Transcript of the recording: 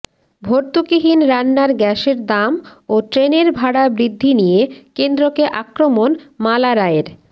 ভর্তুকিহীন রান্নার গ্যাসের দাম ও ট্রেনের ভাড়া বৃদ্ধি নিয়ে কেন্দ্রকে আক্রমণ মালা রায়ের